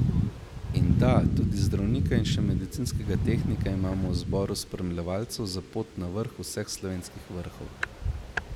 In da, tudi zdravnika in še medicinskega tehnika imamo v zboru spremljevalcev za pot na vrh vseh slovenskih vrhov.